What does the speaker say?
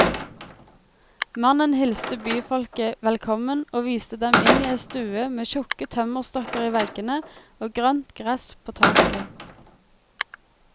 Mannen hilste byfolket velkommen og viste dem inn i ei stue med tjukke tømmerstokker i veggene og grønt gress på taket.